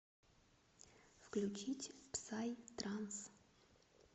включить псай транс